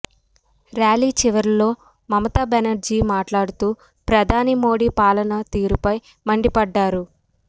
rally చివరలో మమతా బెనర్జీ మాట్లాడుతూ ప్రధాని మోడీ పాలనా తీరుపై మండిపడ్డారు